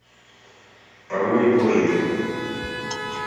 по воле божьей